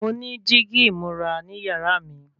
Mo ní dígí ìmúra ní yàrá mi